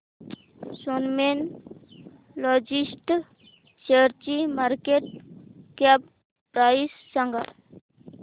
Snowman Logistics शेअरची market cap price सांगा